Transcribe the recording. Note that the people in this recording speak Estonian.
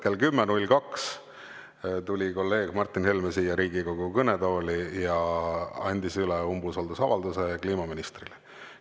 Kell 10.02 tuli kolleeg Martin Helme siia Riigikogu kõnetooli ja andis üle umbusaldusavalduse kliimaministrile.